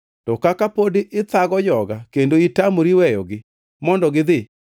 To kaka pod ithago joga kendo itamori weyogi mondo gidhi,